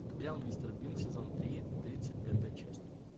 сериал мистер бин сезон три тридцать пятая часть